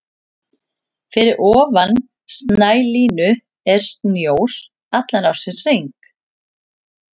Fyrir ofan snælínu er snjór allan ársins hring.